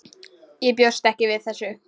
Ég bjóst ekki við þessu.